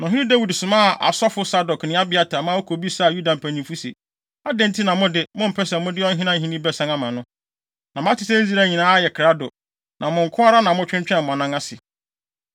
Na ɔhene Dawid somaa asɔfo Sadok ne Abiatar, ma wokobisaa Yuda mpanyimfo se, “Adɛn nti na mo de, mompɛ sɛ mode ɔhene ahenni bɛsan ama no? Na mate sɛ Israel nyinaa ayɛ krado, na mo nko ara na motwentwɛn mo anan ase.